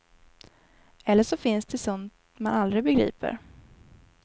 Eller så finns det sånt man aldrig begriper.